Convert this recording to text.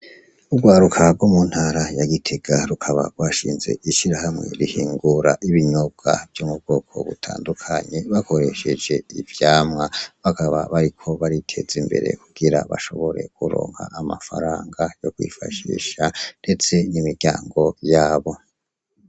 Urwaruka rwo muntara ya Gitega rukaba rwanshinze ishirahamwe ihingura ibinyobwa vyo m'ubwoko butandukanye bakoresheje ivyamwa ,bakaba bariko bariteza imbere kugira bashobore kuronka amafaranga yo kwifashisha ndetse n'imiryango yabo.